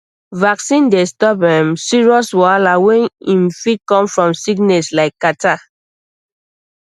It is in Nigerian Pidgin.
vaccine dey stop um serious wahala wey um fit come from sickness like catarrh